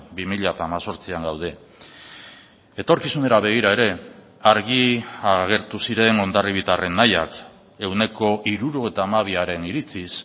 bi mila hemezortzian gaude etorkizunera begira ere argi agertu ziren hondarribitarren nahiak ehuneko hirurogeita hamabiaren iritziz